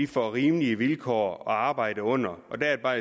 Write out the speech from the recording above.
får rimelige vilkår at arbejde under og der er det bare